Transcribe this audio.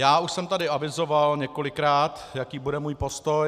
Já už jsem tady avizoval několikrát, jaký bude můj postoj.